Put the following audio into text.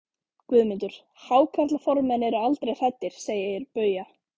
GUÐMUNDUR: Hákarlaformenn eru aldrei hræddir, segir Bauja.